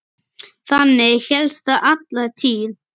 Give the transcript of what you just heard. Þannig hélst það alla tíð.